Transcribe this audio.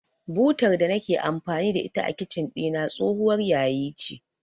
Butar da nake amfani da ita a Kicin ɗina tsohuwar yayi ce.